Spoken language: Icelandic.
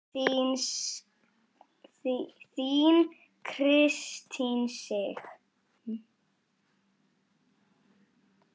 Þín Kristín Sig.